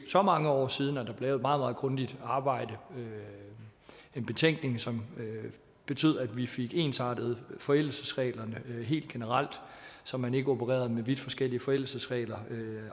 så mange år siden at der blev et meget grundigt arbejde en betænkning som betød at vi fik ensartet forældelsesreglerne helt generelt så man ikke opererede med vidt forskellige forældelsesregler